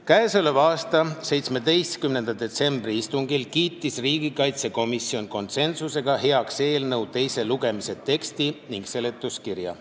Käesoleva aasta 17. detsembri istungil kiitis riigikaitsekomisjon konsensuslikult heaks eelnõu teise lugemise teksti ning seletuskirja.